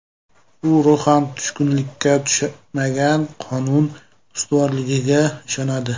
U ruhan tushkunlikka tushmagan, qonun ustuvorligiga ishonadi.